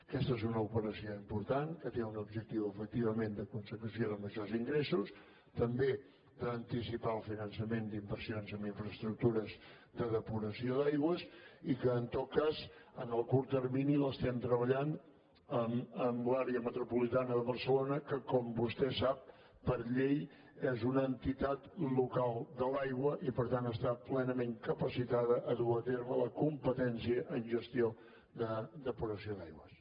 aquesta és una operació important que té un objectiu efectivament de consecució de majors ingressos també d’anticipar el finançament d’inversions en infraestructures de depuració d’aigües i que en tot cas en el curt termini l’estem treballant amb l’àrea metropolitana de barcelona que com vostè sap per llei és una entitat local de l’aigua i per tant està plenament capacitada per dur a terme la competència en gestió de depuració d’aigües